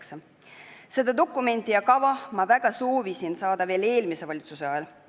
Ma väga soovisin seda dokumenti ja kava saada juba eelmise valitsuse ajal.